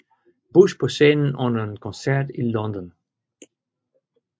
Bush på scenen under en koncert i London